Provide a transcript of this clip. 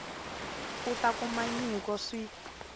a ta kuma nyiko swi